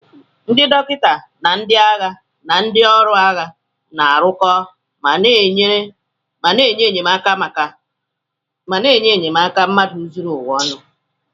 Ndị dọkịta ndị agha na ndị ọrụ agha na-arụko ma na-enye enyemaka mmadụ zuru ụwa ọnụ.